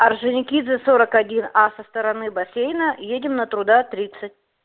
орджоникидзе сорок один а со стороны бассейна едем на труда тридцать